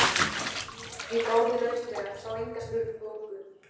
Ég gáði lauslega, sá enga sprungu.